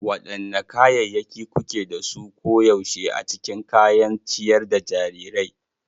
Wadanne kayayyaki kuke da su koyaushe a cikin kayan ciyar da jarirai?